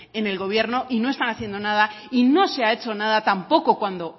en el gobierno y no están haciendo nada y no se ha hecho nada tampoco cuando